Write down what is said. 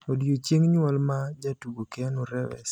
Odiechieng' nyuol ma jatugo keanu reeves